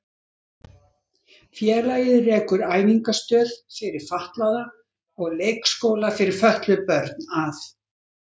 Félagið rekur æfingastöð fyrir fatlaða og leikskóla fyrir fötluð börn að